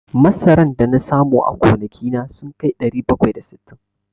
Masaran da na samu a gonaki na sun kai ɗari bakwai da sittin.